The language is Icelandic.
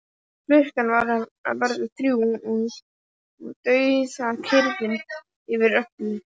Klukkan var að verða þrjú og dauðakyrrð yfir öllu.